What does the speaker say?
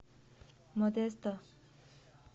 модесто